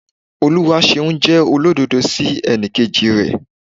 Oluwaseun jẹ́ olódodo sí ẹnikeji rẹ̀.